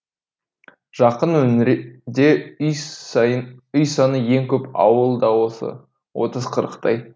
жақын өңірде үй саны ең көп ауыл да осы отыз қырықтай